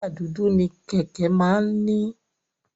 Táyà dúdú ni Kẹ̀kẹ́ máa ń ní.